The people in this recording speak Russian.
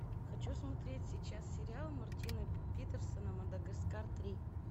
хочу смотреть сейчас сериал мартина питерса мадагаскар три